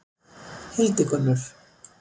Hildigunnur